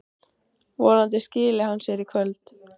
Vonandi skili hann sér í kvöld.